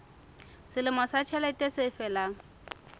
selemo sa ditjhelete se felang